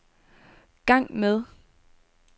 gang med